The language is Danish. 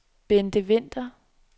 Bente Vinther